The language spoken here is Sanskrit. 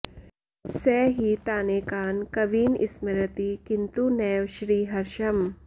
स हि तानेकान् कवीन स्मरति किन्तु नैव श्रीहर्षम्